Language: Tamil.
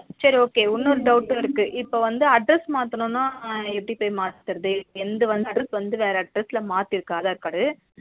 சரி okay இன்னொரு doubt வும் இருக்கு இப்ப வந்து address மாத்தணும்ன எப்பிடி போய் மாத்துறது எந்துவந்து address வந்து வேற address ல மாத்தி இருக்கு aadhar card